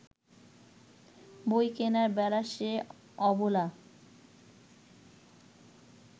বই কেনার বেলা সে অবলা